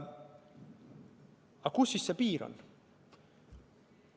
Aga kus see piir on?